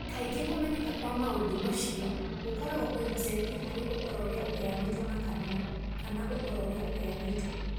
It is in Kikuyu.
Kaingĩ kũmenyeka kwa maũndũ macio gũkoragwo kwĩhocetie harĩ ũhoro ũrĩa ũheanĩtwo na kanua kana ũhoro ũrĩa ũheanĩtwo.